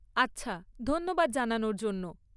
আচ্ছা, ধন্যবাদ জানানোর জন্য।